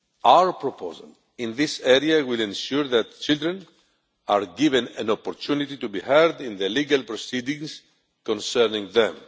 Our proposal in this area will ensure that children are given an opportunity to be heard in legal proceedings concerning them.